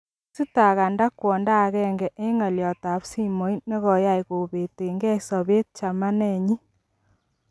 Kogistaganda kwondo agenge en ngolyot ab simoit negoyay kobetengei sobet chamanenyin.